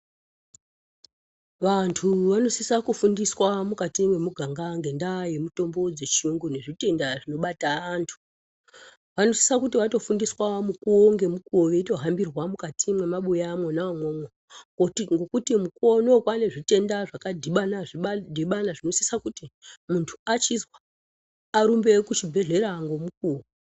Vantu vanosisa kufundiswa mukati mwemuganga ngendaa yemitombo dzechiyungu nezvitenda zvinobata antu. Anosisa kuti atofundiswa mukuwo ngemukowo, ngokuti mukuwo unowu kwaane zvitenda zvakadhibana-dhibana zvinosisa kuti antu achizwa arumbe kuchibhedhlera ngemukuwo.